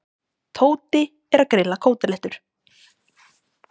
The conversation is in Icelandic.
Tóti er að grilla kótilettur.